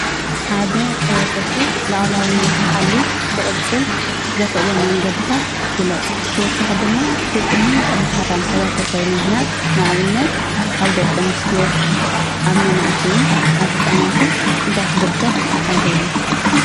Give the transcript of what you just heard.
ሓደ ሕብረተሰብ ሉኣላውነት ሓልዩ ክቅፅል ዘኽእሎ መንገድታታ ግለፅ። ብተወሳኺ ድማ ስጥሙን ጠንካራን ሕብረተሰብ ንምህናፅ ንኣብነት ኣብ ደቂ ኣንስትዮ ፣ኣብ መናእሰይን፣ ኣብ ህፃናትን እንታይ ክግበር ኣለዎ ?